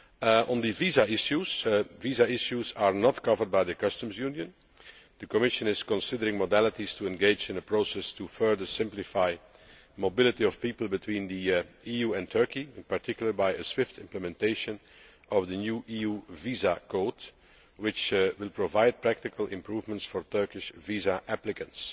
As for visa issues, these are not covered by the customs union. The Commission is considering modalities to engage in a process to further simplify the mobility of people between the EU and Turkey, in particular, by a swift implementation of the new EU visa code, which will provide practical improvements for Turkish visa applicants.